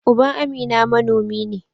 Uban Amina manomi ne.